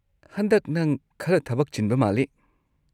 ꯍꯟꯗꯛ ꯅꯪ ꯈꯔ ꯊꯕꯛ ꯆꯤꯟꯕ ꯃꯥꯜꯂꯤ꯫